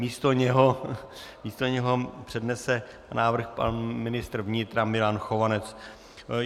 Místo něho přednese návrh pan ministr vnitra Milan Chovanec.